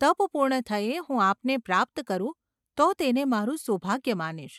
તપ પૂર્ણ થયે હું આપને પ્રાપ્ત કરું તો તેને મારું સુભાગ્ય માનીશ.